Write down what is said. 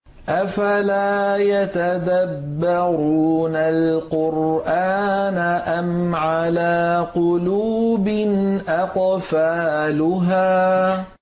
أَفَلَا يَتَدَبَّرُونَ الْقُرْآنَ أَمْ عَلَىٰ قُلُوبٍ أَقْفَالُهَا